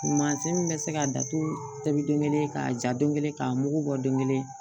Mansin min bɛ se ka datugu k'a ja don kelen k'a mugu bɔ donkelen